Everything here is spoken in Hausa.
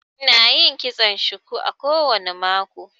Ina yin kitson shuku kowane mako